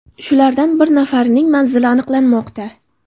Shulardan bir nafarining manzili aniqlanmoqda.